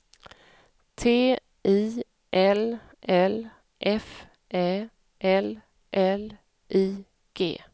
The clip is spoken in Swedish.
T I L L F Ä L L I G